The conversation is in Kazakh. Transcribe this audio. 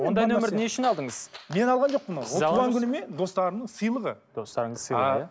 ондай нөмірді не үшін алдыңыз мен алған жоқпын туған күнімен достарымның сыйлығы достарыңыздың сыйлығы иә